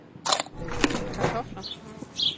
kartofler